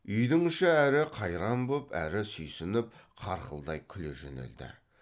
үйдің іші әрі қайран боп әрі сүйсініп қарқылдай күле жөнелді